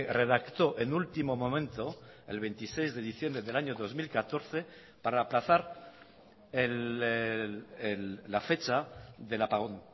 redactó en último momento el veintiséis de diciembre del año dos mil catorce para aplazar la fecha del apagón